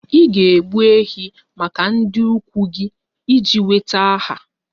Ị ga-egbu ehi maka ndị ikwu gị iji nweta aha